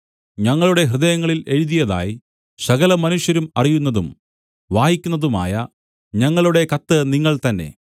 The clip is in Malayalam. ഞങ്ങളുടെ ഹൃദയങ്ങളിൽ എഴുതിയതായി സകലമനുഷ്യരും അറിയുന്നതും വായിക്കുന്നതുമായ ഞങ്ങളുടെ കത്ത് നിങ്ങൾതന്നെ